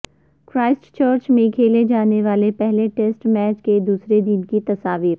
Christ church میں کھیلے جانے والے پہلے ٹسیٹ میچ کے دوسرے دن کی تصاویر